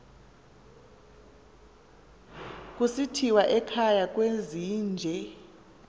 kusithiwa ekhaya kwezinje